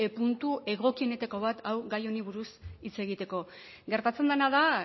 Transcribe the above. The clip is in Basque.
puntu egokienetako bat hau gai honi buruz hitz egiteko gertatzen dena da